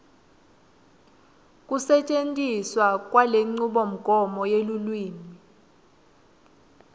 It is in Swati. kusetjentiswa kwalenchubomgomo yelulwimi